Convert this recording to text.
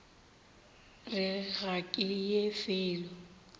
re ga ke ye felo